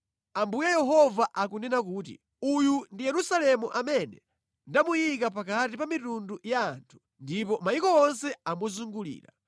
Ambuye Yehova akunena kuti, “Uyu ndi Yerusalemu amene ndamuyika pakati pa mitundu ya anthu, ndipo mayiko onse amuzungulira.